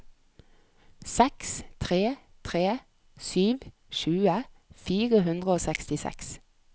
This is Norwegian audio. seks tre tre sju tjue fire hundre og sekstiseks